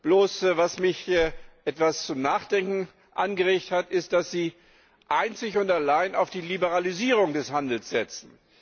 Bloß was mich etwas zum Nachdenken angeregt hat, ist, dass Sie einzig und allein auf die Liberalisierung des Handels setzen.